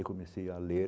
Eu comecei a ler.